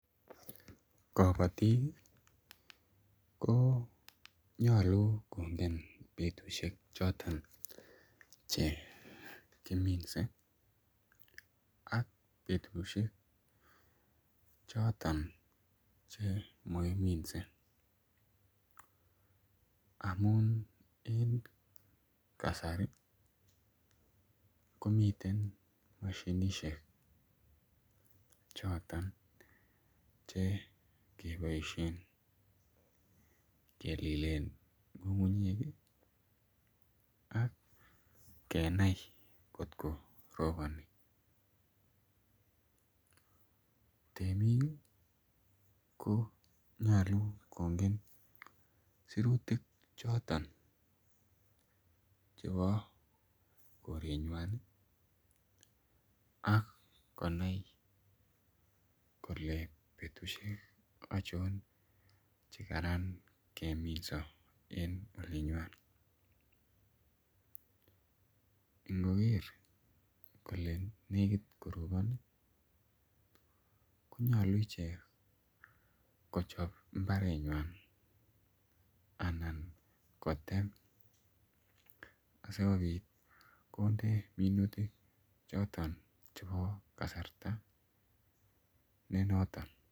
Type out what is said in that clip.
Kobotik ko nyolu kongen betushek choto chekiminsei ak betushek choton chemakiminsei amun en kasari komiten mashinishek choton chekeboishen kelilen ng'ung'unyek ak kenai kotkoroboni temik ko nyolu kongen sirutik choto chebo korengwany akonai kole betushek achon chekaran keminso en olenywan ngoker kole lekit korobon konyolu ichek kochop imbaret nyan anan kotem asikobit konde minutik choto chebo kasarta ne noton.